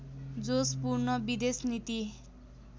जोशपूर्ण विदेश नीति